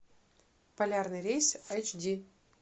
полярный рейс эйч ди